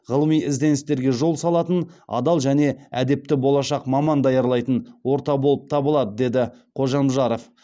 ғылыми ізденістерге жол салатын адал және әдепті болашақ маман даярлайтын орта болып табылады деді қожамжаров